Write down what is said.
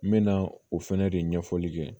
N mɛna o fɛnɛ de ɲɛfɔli kɛ